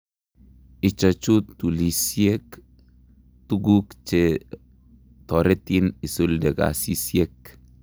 Ichochu tulisiek, tuguk chetoretin isulde kasisiek